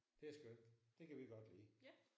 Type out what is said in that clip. Det er skønt. Det kan vi godt lide